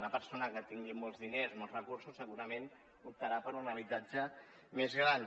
una persona que tingui molts diners molts recursos segurament optarà per un habitatge més gran